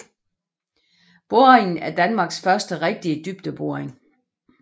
Boringen er Danmarks første rigtige dybdeboring